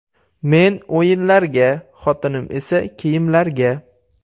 Men o‘yinlarga, xotinim esa kiyimlarga.